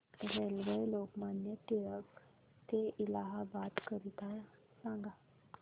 railway Lokmanya Tilak ट ते इलाहाबाद करीता सांगा